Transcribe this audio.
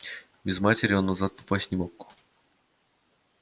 без матери он назад попасть не мог